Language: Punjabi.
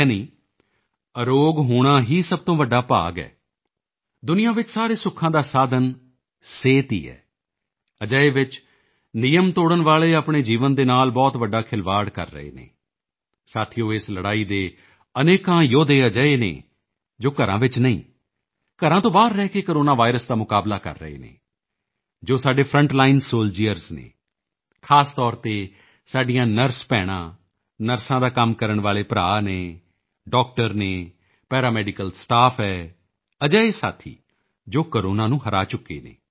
ਯਾਨੀ ਅਰੋਗ ਹੋਣਾ ਹੀ ਸਭ ਤੋਂ ਵੱਡਾ ਭਾਗ ਹੈ ਦੁਨੀਆਂ ਵਿੱਚ ਸਾਰੇ ਸੁੱਖਾਂ ਦਾ ਸਾਧਨ ਸਿਹਤ ਹੀ ਹੈ ਅਜਿਹੇ ਵਿੱਚ ਨਿਯਮ ਤੋੜਨ ਵਾਲੇ ਆਪਣੇ ਜੀਵਨ ਦੇ ਨਾਲ ਬਹੁਤ ਵੱਡਾ ਖਿਲਵਾੜ ਕਰ ਰਹੇ ਨੇ ਸਾਥੀਓ ਇਸ ਲੜਾਈ ਦੇ ਅਨੇਕਾਂ ਯੋਧੇ ਅਜਿਹੇ ਨੇ ਜੋ ਘਰਾਂ ਵਿੱਚ ਨਹੀਂ ਹਨ ਘਰਾਂ ਤੋਂ ਬਾਹਰ ਰਹਿ ਕੇ ਕੋਰੋਨਾ ਵਾਇਰਸ ਦਾ ਮੁਕਾਬਲਾ ਕਰ ਰਹੇ ਨੇ ਜੋ ਸਾਡੇ ਫਰੰਟ ਲਾਈਨ ਸੋਲਡੀਅਰਜ਼ ਹਨ ਖ਼ਾਸ ਤੌਰ ਤੇ ਸਾਡੀਆਂ ਨਰਸ ਭੈਣਾਂ ਨਰਸਾਂ ਦਾ ਕੰਮ ਕਰਨ ਵਾਲੇ ਭਰਾ ਹਨ ਡਾਕਟਰ ਹਨ ਪੈਰਾਮੈਡੀਕਲ ਸਟਾਫ ਹੈ ਅਜਿਹੇ ਸਾਥੀ ਜੋ ਕੋਰੋਨਾ ਨੂੰ ਹਰਾ ਚੁੱਕੇ ਨੇ